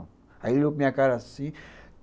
Aí ele olhou para minha cara assim